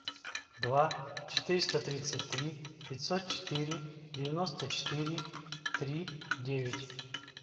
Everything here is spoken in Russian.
два четыреста тридцать три пятьсот четыре девяносто четыре три девять